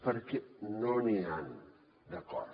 perquè no n’hi han d’acords